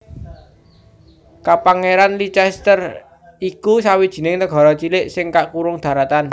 Kapangèranan Liechtenstein iku sawijining nagara cilik sing kakurung daratan